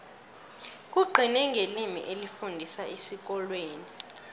kugcine ngelimi elifundiswa esikolweni